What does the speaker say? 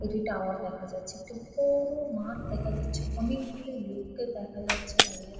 একটি টাওয়ার দেখা যাচ্ছে। একটি বড়ো-ও মাঠ দেখা যাচ্ছে। অনেকগুলি লোককে দেখা যাচ্ছে দাঁড়িয়ে--